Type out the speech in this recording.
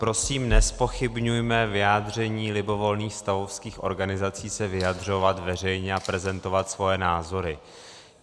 Prosím, nezpochybňujme vyjádření libovolných stavovských organizací se vyjadřovat veřejně a prezentovat svoje názory.